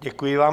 Děkuji vám.